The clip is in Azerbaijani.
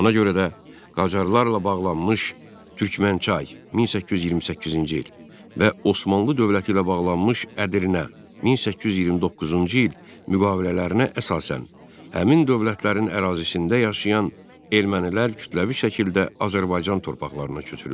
Ona görə də Qacarlarla bağlanmış Türkmənçay (1828-ci il) və Osmanlı dövləti ilə bağlanmış Ədirnə (1829-cu il) müqavilələrinə əsasən, həmin dövlətlərin ərazisində yaşayan ermənilər kütləvi şəkildə Azərbaycan torpaqlarına köçürüldü.